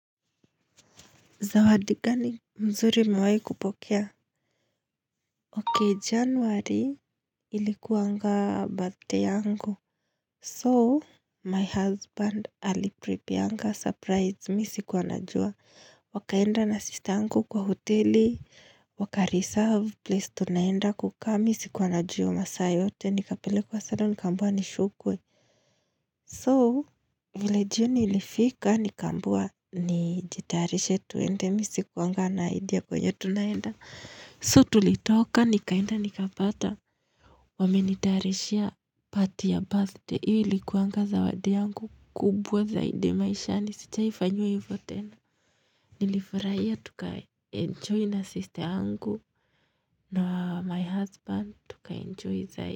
Zawadi gani mzuri niwai kupokea. Okay, januari ilikuwanga birthday yangu. So, my husband alipreprare surprise mimi sikuwa najua. Wakaenda na sister yangu kwa hoteli. Waka-reserve place tunaenda kukaa. Mimi sikuwa najua masaa yote. Nikapelekwa salon nikambiwa nisukwe. So, vile jioni ilifika nikambiwa nijitarishe tuende mimi sikuwa na idea kwenye tunaenda. So tulitoka, nikaenda, nikapata. Wamenitarishia party ya birthday. Hii ilikuwa zawadi yangu kubwa zaidi maishani. Na sijawahi fanyiwa hivyo tena nilifurahia. Tuka-enjoy na sister yangu na my husband. Tuka enjoy zaidi.